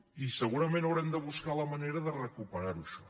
i segurament haurem de buscar la manera de recuperar ho això